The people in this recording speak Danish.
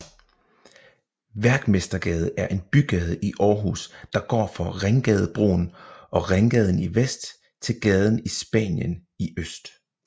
Værkmestergade er en bygade i Aarhus der går fra Ringgadebroen og Ringgaden i vest til gaden Spanien i øst